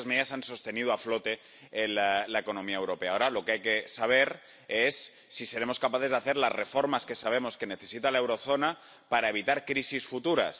Pero esas medidas han sostenido a flote la economía europea. Ahora lo que hay que saber es si seremos capaces de hacer las reformas que sabemos que necesita la eurozona para evitar crisis futuras.